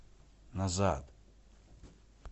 назад